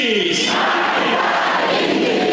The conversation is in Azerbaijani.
Allahu Əkbər, İngilis!